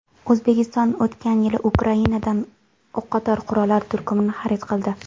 O‘zbekiston o‘tgan yili Ukrainadan o‘qotar qurollar turkumini xarid qildi.